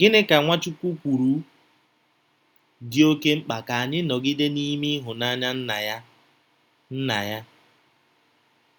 Gịnị ka Nwachukwu kwuru dị oké mkpa ka ya nọgide n’ime ịhụnanya Nna ya? Nna ya?